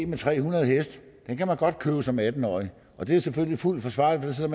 med tre hundrede heste den kan man godt købe som atten årig og det er selvfølgelig fuldt forsvarligt for så